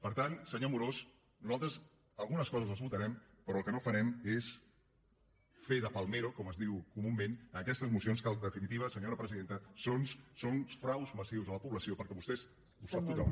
per tant senyor amorós nosaltres algunes coses les votarem però el que no farem és fer de palmero com es diu comunament en aquestes mocions que en definitiva senyora presidenta són fraus massius a la població perquè vostès ho sap tothom